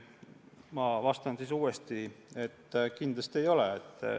Ma vastan, et kindlasti ei ole.